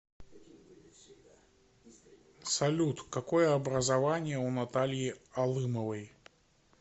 салют какое образование у натальи алымовой